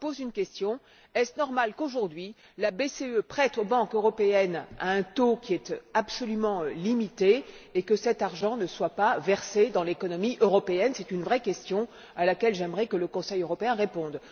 Je pose la question suivante est il normal qu'aujourd'hui, la BCE prête aux banques européennes à un taux qui est absolument limité et que cet argent ne soit pas versé dans l'économie européenne? C'est une vraie question à laquelle j'aimerais que le Conseil européen réponde.